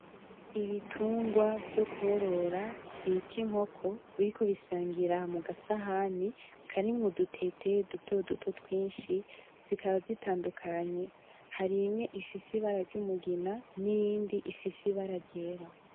Ibitungwa vyo korora bita inkoko biriko birasangira mugasahani karimwo udutete dutoduto twinshi, zikaba zitandukanye. Hari imwe ifise ibara ry'umugina niyindi ifise ibara ryera.